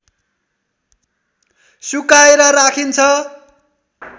सुकाएर राखिन्छ